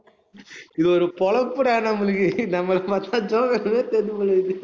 இது ஒரு பிழைப்புடா, நம்மளுக்கு. நம்மள பாத்தா joker மாதிரி தெரியுது போலருக்குது